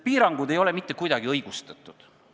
Piirangud ei ole mitte kuidagi õigustatud.